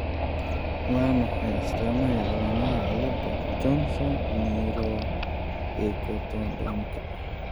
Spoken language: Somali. Waa maxay astamaha iyo calaamadaha cilada Johnson neuroectodermalka